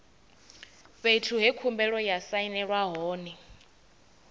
fhethu he khumbelo ya sainelwa hone